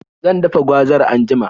Zan dafa gwazar anjima.